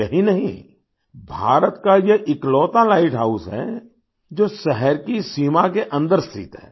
यही नहीं भारत का ये इकलौता लाइट हाउस है जो शहर की सीमा के अन्दर स्थित है